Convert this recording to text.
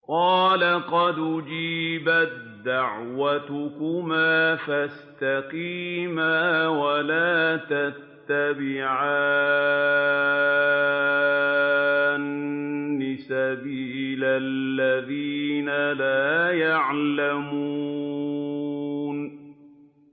قَالَ قَدْ أُجِيبَت دَّعْوَتُكُمَا فَاسْتَقِيمَا وَلَا تَتَّبِعَانِّ سَبِيلَ الَّذِينَ لَا يَعْلَمُونَ